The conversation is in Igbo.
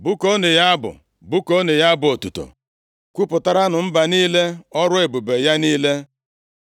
Bụkuonụ ya abụ, bụkuonụ ya abụ otuto; kwupụtaranụ mba niile ọrụ ebube ya niile.